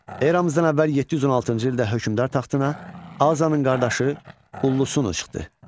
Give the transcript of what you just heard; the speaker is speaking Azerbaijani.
Eramızdan əvvəl 716-cı ildə hökmdar taxtına Azanın qardaşı Ullusunu çıxdı.